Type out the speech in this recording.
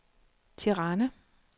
Tirana